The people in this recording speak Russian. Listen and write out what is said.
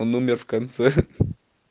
он умер в конце